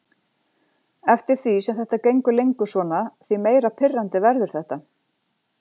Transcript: Eftir því sem þetta gengur lengur svona því meira pirrandi verður þetta.